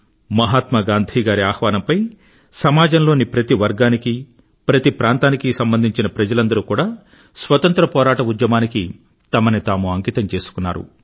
మహాత్మా గాంధీ గారి ఆహ్వానంపై సమాజంలోని ప్రతి వర్గానికీ ప్రతి ప్రాంతానికీ సంబంధించిన ప్రజలందరూ కూడా స్వతంత్ర పోరాట ఉద్యమానికి తమను తాము అంకితం చేసుకున్నారు